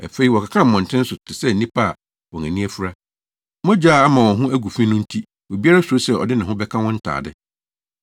Afei wɔkeka wɔ mmɔnten so te sɛ nnipa a wɔn ani afura. Mogya a ama wɔn ho agu fi no nti obiara suro sɛ ɔde ne ho bɛka wɔn ntade.